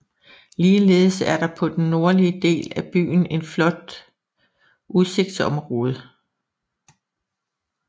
Ligeledes er der på den nordlige del af byen en flot udsigtsområde